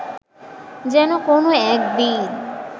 যেন কোনও একদিন